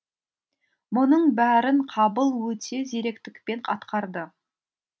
мұның бәрін қабыл өте зеректікпен атқарды